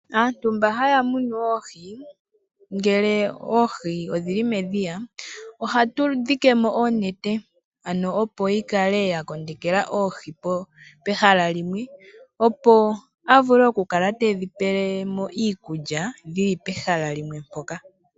Aantu mba haya munu oohi ngele odhili medhiya ohatu dhike mo oonene opo dhi kale dha kondekela oohi pehala limwe. Opo a vule oku kala tedhi pele mo iikulya dhili pehala limwe mpoka.